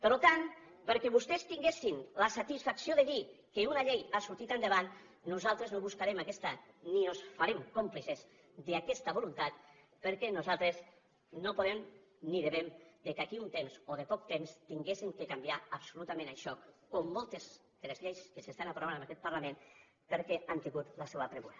per tant perquè vostès tinguessin la satisfacció de dir que una llei ha sortit endavant nosaltres no buscarem aquesta ni ens farem còmplices d’aquesta voluntat perquè nosaltres no podem ni devem que d’aquí a un temps o de poc temps tinguéssim de canviar absolutament això com moltes altres lleis que s’estan aprovant en aquest parlament perquè han tingut la seva pressa